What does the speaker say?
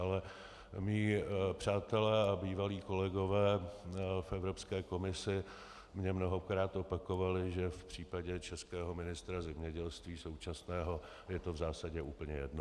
Ale mí přátelé a bývalí kolegové v Evropské komisi mně mnohokrát opakovali, že v případě českého ministra zemědělství současného je to v zásadě úplně jedno.